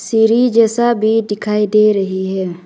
सीढ़ी जैसा भी दिखाई दे रही है।